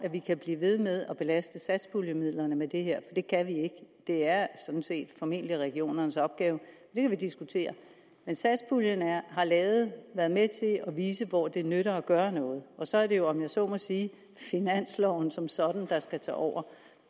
vi kan blive ved med at belaste satspuljemidlerne med det her for det kan vi ikke det er sådan set formentlig regionernes opgave det kan vi diskutere men satspuljen har været med til at vise hvor det nytter at gøre noget og så er det jo om jeg så må sige finansloven som sådan der skal tage over